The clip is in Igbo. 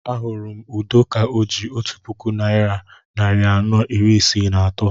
Ahụrụ m Udo ka o ji otu puku naira narị anọ iri isii na atọ